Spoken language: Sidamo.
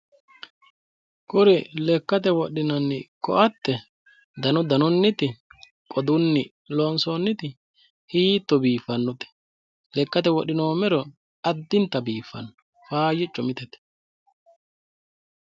Kuri lekkate wodhinanni ko"atte danu danunniti qodunni loonsoonniti hiitto biiffannote lekkate wodhinoommero addinta biiffanno faayyicco mitete